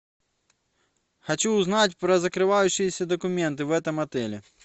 хочу узнать про закрывающиеся документы в этом отеле